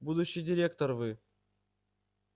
будущий директор вы